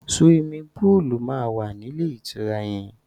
Suwimi púùlù máa wà nílé ìtura yẹn.